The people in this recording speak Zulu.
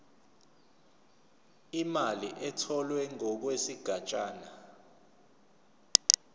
imali etholwe ngokwesigatshana